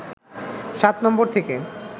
সাত নম্বরে থেকে